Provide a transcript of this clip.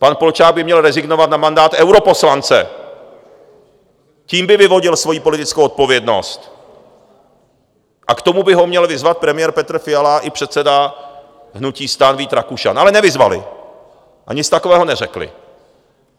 Pan Polčák by měl rezignovat na mandát europoslance, tím by vyvodil svojí politickou odpovědnost, a k tomu by ho měl vyzvat premiér Petr Fiala i předseda hnutí STAN Vít Rakušan, ale nevyzvali a nic takového neřekli.